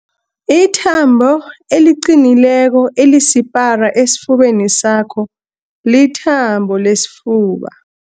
Ithambo eliqinileko elisipara esifubeni sakho lithambo lesifuba.